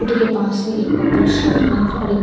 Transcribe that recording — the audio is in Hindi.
के पास ही एक पर्पल शर्ट पेहेन के है और एक --